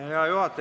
Hea juhataja!